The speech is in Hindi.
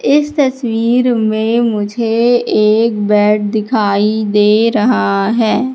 इस तस्वीर में मुझे एक बेड दिखाई दे रहा है।